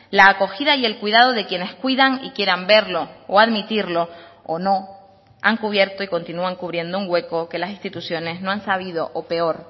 la acogida y el cuidado de quienes cuidan y quieran verlo o admitirlo o no han cubierto y continúan cubriendo un hueco que las instituciones no han sabido o peor